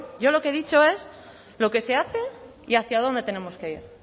yo lo que he dicho es lo que se hace y hacia dónde tenemos que ir